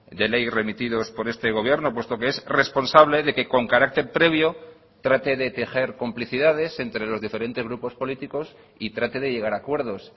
de ley remitidos por este gobierno puesto que es responsable de que con carácter previo trate de tejer complicidades entre los diferentes grupos políticos y trate de llegar a acuerdos